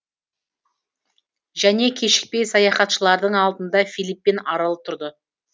және кешікпей саяхатшылардың алдында филиппин аралы тұрды